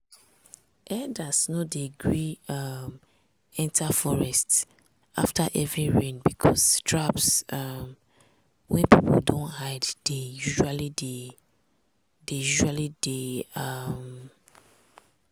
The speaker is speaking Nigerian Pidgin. herders no dey gree um enter forest after heavy rain because traps um wey people don hide dey usually dey. dey usually dey. um